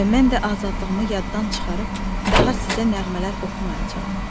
və mən də azadlığımı yaddan çıxarıb daha sizə nəğmələr oxumayacağam.